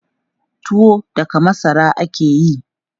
Tuwo daga masara ake yi.